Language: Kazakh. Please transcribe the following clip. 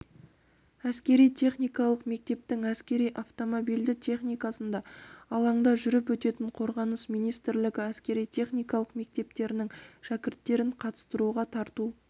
әскери-техникалық мектептің әскери автомобильді техникасында алаңда жүріп өтетін қорғаныс министрлігі әскери-техникалық мектептерінің шәкірттерін қатыстыруға тарту